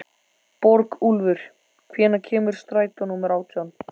Borgúlfur, hvenær kemur strætó númer átján?